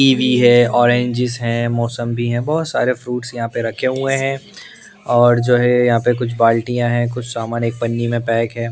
Kiwi है oranges हैं मौसम भी हैं बहुत सारे फ्रूट्स यहाँ पर रखे हुए हैं और जो हैं यहाँ पर कुछ बाल्टियाँ हैं कुछ सामान एक पन्नी में पैक हैं ।